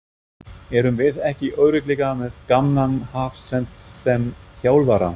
Erum við ekki örugglega með gamlan hafsent sem þjálfara?